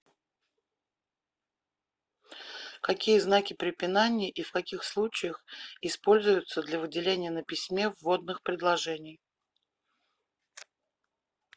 какие знаки препинания и в каких случаях используются для выделения на письме вводных предложений